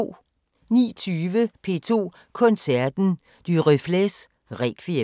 19:20: P2 Koncerten: Duruflés Requiem